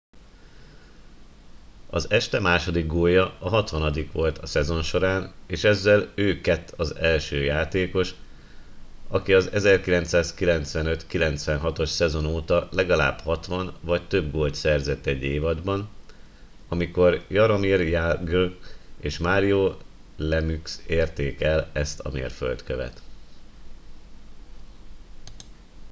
az este második gólja a hatvanadikja volt a szezon során és ezzel ő kett az első játékos aki az 1995-96-os szezon óta legalább 60 vagy több gólt szerzett egy évadban amikor jaromir jagr és mario lemieux érték el ezt a mérföldkövet